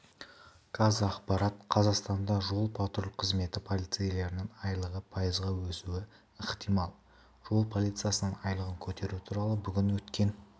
қазақпарат қазақстанда жол-патруль қызметі полицейлерінің айлығы пайызға өсуі ықтимал жол полициясының айлығын көтеру туралы бүгін өткен